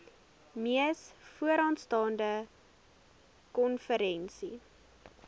mees vooraanstaande konferensie